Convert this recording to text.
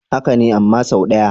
Haka ne, amma sau ɗaya.